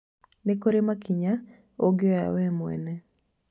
Nĩ kũrĩ makinya ũngĩoya we mwene